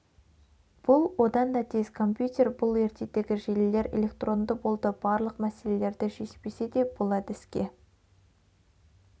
бұл одан да тез компьютер бұл ертедегі желілер электронды болды барлық мәселелерді шешпесе де бұл әдіске